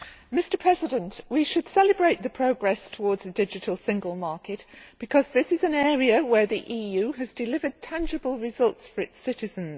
Mr President, we should celebrate the progress towards the digital single market because this is an area where the EU has delivered tangible results for its citizens.